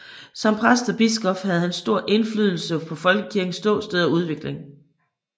Som præst og biskop havde han stor indflydelse på Folkekirkens ståsted og udvikling